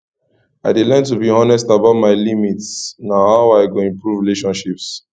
i dey learn to be honest about my limits na how i go improve relationships